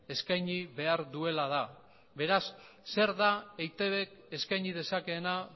eskaini behar duela da beraz zer da eitbk eskaini dezakeena